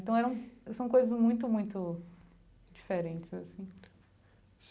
Então são coisas muito, muito diferentes assim.